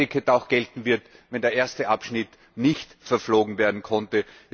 dass ein Ticket auch gelten wird, wenn der erste Abschnitt nicht verflogen werden konnte.